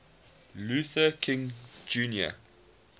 luther king jr